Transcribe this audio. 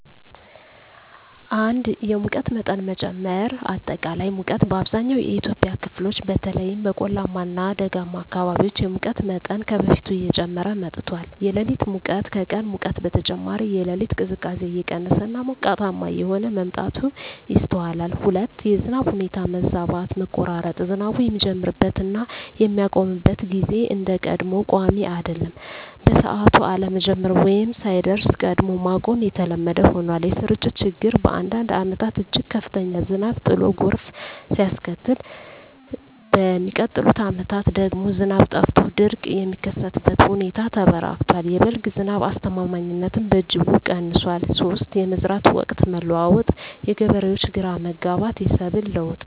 1)የሙቀት መጠን መጨመር >>አጠቃላይ ሙቀት: በአብዛኛው የኢትዮጵያ ክፍሎች (በተለይም በቆላማ እና ደጋማ አካባቢዎች) የሙቀት መጠን ከበፊቱ እየጨመረ መጥቷል። >>የሌሊት ሙቀት: ከቀን ሙቀት በተጨማሪ፣ የሌሊት ቅዝቃዜ እየቀነሰ እና ሞቃታማ እየሆነ መምጣቱ ይስተዋላል። 2)የዝናብ ሁኔታ መዛባት >>መቆራረጥ: ዝናቡ የሚጀምርበት እና የሚያቆምበት ጊዜ እንደ ቀድሞው ቋሚ አይደለም። በሰዓቱ አለመጀመር ወይም ሳይደርስ ቀድሞ ማቆም የተለመደ ሆኗል። >>የስርጭት ችግር: በአንዳንድ ዓመታት እጅግ ከፍተኛ ዝናብ ጥሎ ጎርፍ ሲያስከትል፣ በሚቀጥሉት ዓመታት ደግሞ ዝናብ ጠፍቶ ድርቅ የሚከሰትበት ሁኔታ ተበራክቷል። የ"በልግ" ዝናብ አስተማማኝነትም በእጅጉ ቀንሷል። 3)የመዝራት ወቅት መለዋወጥ: የገበሬዎች ግራ መጋባት፣ የሰብል ለውጥ